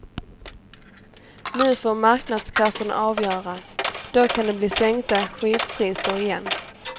Nu får marknadskrafterna avgöra, då kan det bli sänkta skivpriser igen.